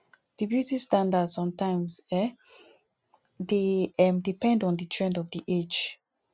di beauty standard somtimes um dey um depend on di trend of di age